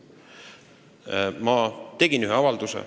Ma tegin ühe avalduse.